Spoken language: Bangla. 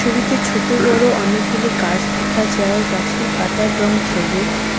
ছবিতে ছোটো বড়ো অনেকগুলি গাছ দিখা যায় গাছের পাতার রং ছবুজ ।